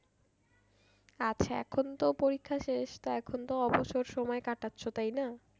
আচ্ছা এখন তো পরীক্ষা শেষ তো এখন তো অবসর সময় কাটাচ্ছো তাই না?